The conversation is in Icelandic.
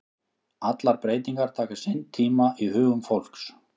Allar breytingar taka sinn tíma í hugum fólks.